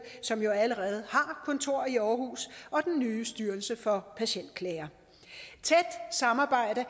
som jo allerede har kontor i aarhus og den nye styrelse for patientklager tæt samarbejde